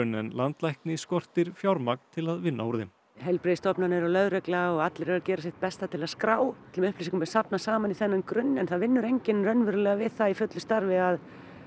en landlækni skortir fjármagn til að vinna úr þeim heilbrigðisstofnanir og lögregla og allir eru að gera sitt besta til að skrá öllum upplýsingum er safnað saman í þennan grunn en það vinnur enginn raunverulega við það í fullu starfi að